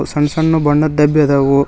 ಸಣ್ಣ ಸಣ್ಣು ಬಣ್ಣದ್ ಡಬ್ಬಿ ಅದವು.